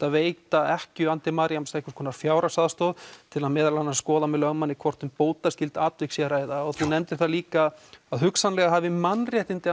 að veita ekkju Beyene einhvers konar fjárhagsaðstoð til að meðal annars skoða með lögmanni hvort um bótaskylt atvik sé að ræða og þú nefndir það líka að hugsanlega hafi mannréttindi